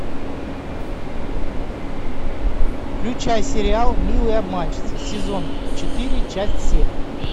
включай сериал милые обманщицы сезон четыре часть семь